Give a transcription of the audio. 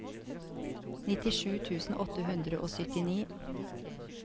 nittisju tusen åtte hundre og syttini